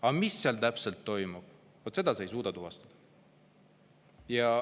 Aga mis seal täpselt toimub, vot seda ei suuda tuvastada.